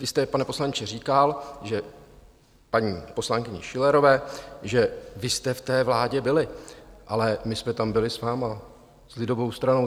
Vy jste, pane poslanče, říkal paní poslankyni Schillerové, že vy jste v té vládě byli, ale my jsme tam byli s vámi, s lidovou stranou.